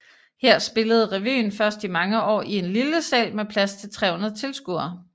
Her spillede revyen først i mange år i en lille sal med plads til 300 tilskuere